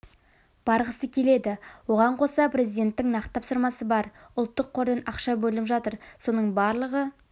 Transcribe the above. барғысы келеді оған қоса президенттің нақты тапсырмасы бар ұлттық қордан ақша бөлініп жатыр соның барлығы